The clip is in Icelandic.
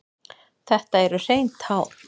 Þetta eru hrein tár.